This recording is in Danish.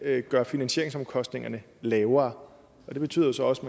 gøre finansieringsomkostningerne lavere og det betyder jo så også